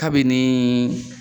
Kabini